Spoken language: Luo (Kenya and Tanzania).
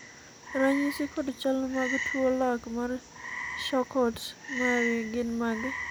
ranyisi kod chal mag tuo lak mar Charcot Marie gin mage?